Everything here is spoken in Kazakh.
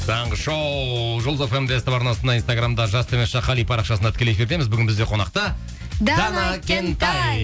таңғы шоу жұлдыз фм де ств арнасында инстаграмда жас қали парақшасында тікелей эфирдеміз бүгін бізде қонақта дана кентай